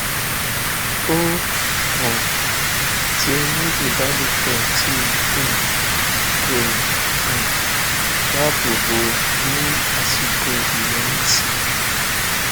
o um ti ní ìbálòpọ tí um kò um dáàbò bo ní àsìkò ìyọrísí